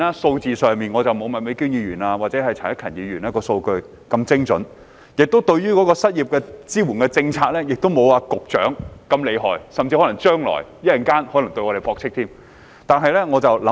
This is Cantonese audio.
當然，我不如麥美娟議員或陳克勤議員能提供精準的數據，而我對失業支援政策的了解亦不及局長厲害，他稍後甚至可能會駁斥我們的說法。